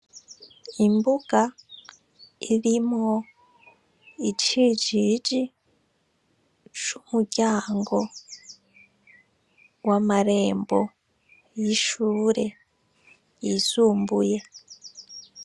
Imbuga , irimwo icijiji c’umuryango w’amarembo y’ishure yisumbuye.